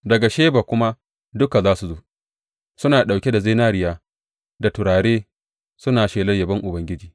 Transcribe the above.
Daga Sheba kuma duka za su zo, suna ɗauke da zinariya da turare suna shelar yabon Ubangiji.